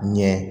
Ɲɛ